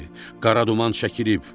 Qara duman çəkilib.